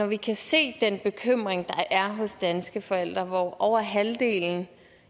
vi kan se den bekymring der er hos danske forældre hvoraf over halvdelen